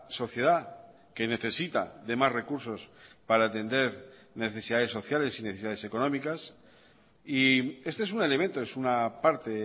sociedad que necesita de más recursos para atender necesidades sociales y necesidades económicas y este es un elemento es una parte